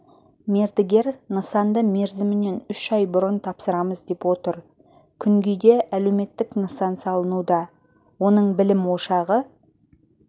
мердігер нысанды мерзімінен үш ай бұрын тапсырамыз деп отыр күнгейде әлеуметтік нысан салынуда оның білім ошағы